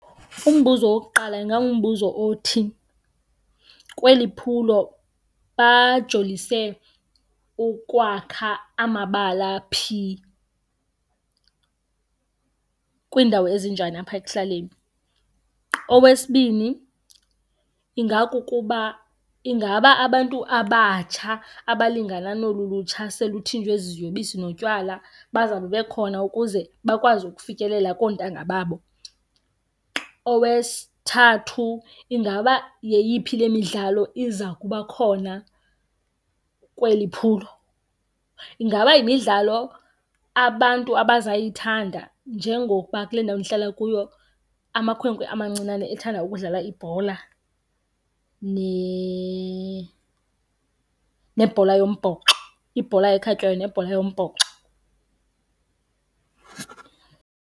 Umbuzo wokuqala ingangumbuzo othi kweli phulo bajolise ukwakha amabala phi, kwiindawo ezinjani apha ekuhlaleni. Owesibini, ingakukuba ingaba abantu abatsha abalingana nolu lutsha selutshintshwe ziziyobisi notywala bazawube bekhona ukuze bakwazi ukufikelela koontanga babo. Owesithathu, ingaba yeyiphi le midlalo iza kuba khona kweli phulo. Ingaba yimidlalo abantu abazayithanda njengokuba kule ndawo ndihlala kuyo amakhwenkwe amancinane ethanda ukudlala ibhola nebhola yombhoxo, ibhola ekhatywayo nebhola yombhoxo.